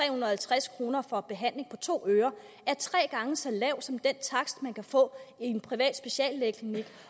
og halvtreds kroner for behandling på to ører er tre gange så lav som den takst man kan få i en privat speciallægeklinik